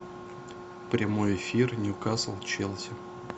прямой эфир ньюкасл челси